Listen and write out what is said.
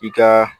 I ka